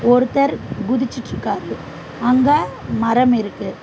ஒருத்தர் குதிச்சிட்ருக்காரு அங்க மரம் இருக்கு.